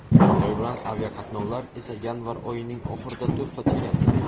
Xitoy bilan aviaqatnovlar esa yanvar oyining oxirida to‘xtatilgandi.